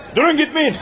Durun getməyin!